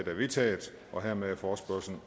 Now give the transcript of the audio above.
er vedtaget hermed er forespørgslen